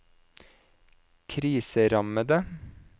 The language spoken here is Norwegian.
kriserammede